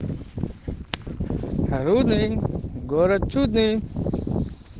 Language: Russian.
рудный город чудный